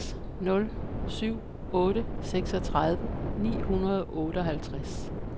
seks nul syv otte seksogtredive ni hundrede og otteoghalvtreds